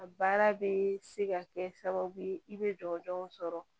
A baara bɛ se ka kɛ sababu ye i bɛ jɔnjɔn sɔrɔ